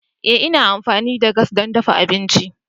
Ee ina amfani da gas don dafa abinci.